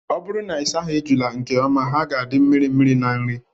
Ọ bụrụ na ịsaghị ejula nke ọma, ha ga-adị mirimiri na nri.